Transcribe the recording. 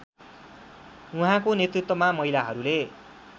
उहाँको नेतृत्वमा महिलाहरूले